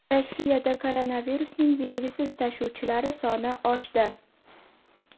Rossiyada koronavirusning belgisiz tashuvchilari soni oshdi.